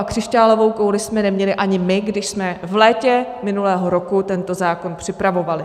A křišťálovou kouli jsme neměli ani my, když jsme v létě minulého roku tento zákon připravovali.